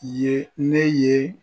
Ye ne ye